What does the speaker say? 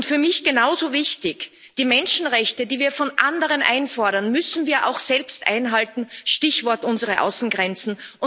Für mich genauso wichtig Die Menschenrechte, die wir von anderen einfordern, müssen wir auch selbst einhalten Stichwort unsere Außengrenzen.